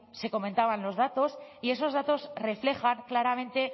se comentaban los datos y esos datos reflejan claramente